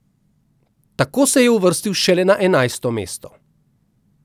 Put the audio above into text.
Tako se je uvrstil šele na enajsto mesto.